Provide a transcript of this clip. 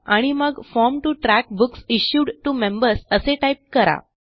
आणि मग form to track books issued to members असे टाईप करा